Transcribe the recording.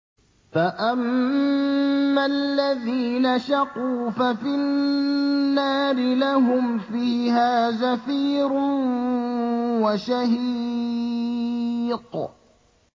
فَأَمَّا الَّذِينَ شَقُوا فَفِي النَّارِ لَهُمْ فِيهَا زَفِيرٌ وَشَهِيقٌ